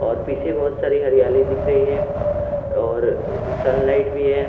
और पीछे बहुत सारी हरियाली दिख रही है और सनलाइट भी है।